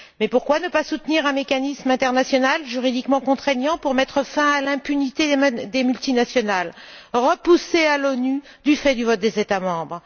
Mais pourquoi ne pas soutenir un mécanisme international, juridiquement contraignant, pour mettre fin à l'impunité des multinationales, repoussé à l'ONU du fait du vote des États membres?